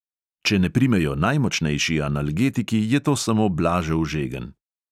Če ne primejo najmočnejši analgetiki, je to samo blažev žegen.